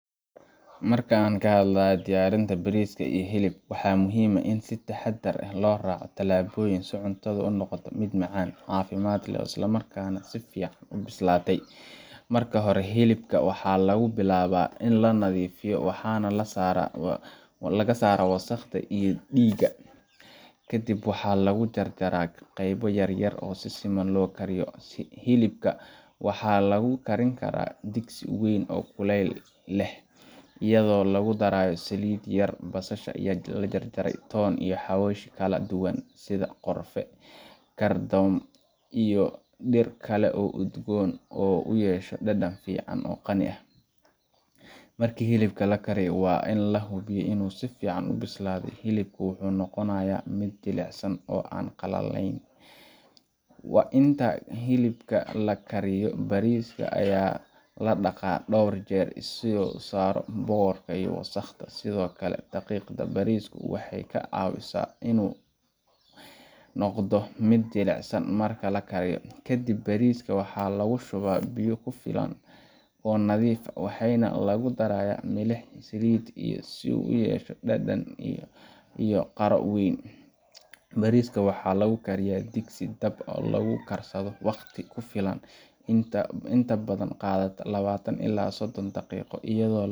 Marka aan ka hadlayno diyaarinta bariiska iyo hilibka, waxaa muhiim ah in si taxadar leh loo raaco tallaabooyinka si cuntadu u noqoto mid macaan, caafimaad leh, isla markaana si fiican u bislaatay. Marka hore, hilibka waxaa lagu bilaabaa in la nadiifiyo, oo laga saaro wasakhda iyo dhiigga, ka dibna waxaa lagu jarjaraa qaybo yaryar si si siman loo kariyo. Hilibka waxaa lagu karin karaa digsi weyn oo kuleyl leh, iyadoo lagu darayo saliid yar, basasha la jarjaray, toon, iyo xawaash kala duwan sida qorfe, kardamoon, iyo dhir kale oo udgoon si uu u yeesho dhadhan qani ah. Marka hilibka la kariyo, waa in la hubiyaa inuu si fiican u bislaaday, hilibku wuxuu noqonayaa mid jilicsan oo aan qallajin. Inta hilibka la kariyo, bariiska ayaa la dhaqaa dhowr jeer si looga saaro boorka iyo wasakhda, sidoo kale dhaqidda bariisku waxay ka caawisaa inuu noqdo mid jilicsan marka la kariyo. Kadib, bariiska waxaa lagu shubaa biyo ku filan oo nadiif ah, waxaana lagu darayaa milix iyo saliid yar si uu u yeesho dhadhan iyo qaro weyn. Bariiska waxaa lagu kariyaa digsi dabka lagu karsado, waqti ku filan oo inta badan qaata labatan ilaa sodon daqiiqo, iyadoo